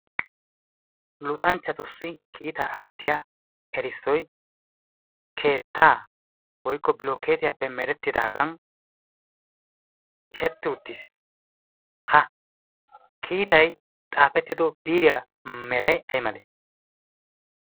luxanchchatussi kiitaa aattiya erissoy keettaa woykko bilokeetiyappe merettidaagan xishetti uttis. ha kiitay xaafettido biiriya meray ay male?